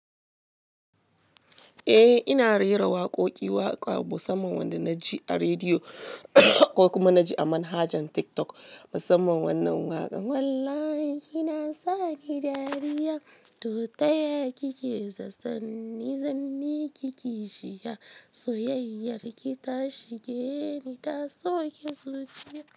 Eh ina rera waƙoƙi waƙa musamman wanda na ji a rediyo ko kuma na ji a manhajan TikTok musamman wannan waƙan. "Wallahi kina sa ki dariya, to taya kike zaton, nizan miki kishiya, soyayyar ki ta shige ni, ta soke zuciya."